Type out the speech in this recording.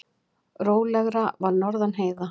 Rólegra var norðan heiða.